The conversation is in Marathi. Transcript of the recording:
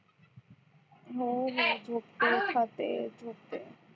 हो रे झोपते खाते झोपते